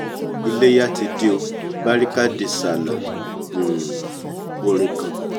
iléya ti dé o barika de sallah um orin kan